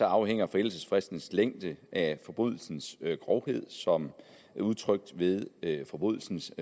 afhænger forældelsesfristens længde af forbrydelsens grovhed som udtrykt ved forbrydelsens